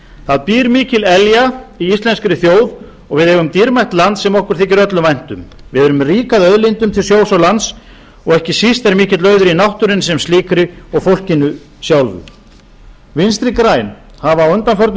það býr mikil elja í íslenskri þjóð og við eigum dýrmætt land sem okkur þykir öllum vænt um við erum rík að auðlindum til sjós og lands og ekki síst er mikill auður í náttúrunni sem slíkri og fólkinu sjálfu vinstri græn hafa á undanförnum